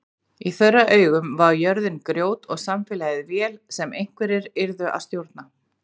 Í þeirra augum var jörðin grjót og samfélagið vél sem einhverjir yrðu að stjórna.